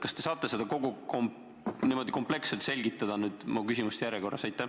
Kas te saate seda nüüd niimoodi kompleksselt selgitada, minu küsimuste järjekorras?